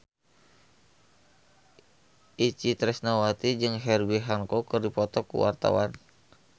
Itje Tresnawati jeung Herbie Hancock keur dipoto ku wartawan